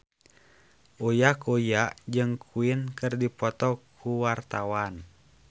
Uya Kuya jeung Queen keur dipoto ku wartawan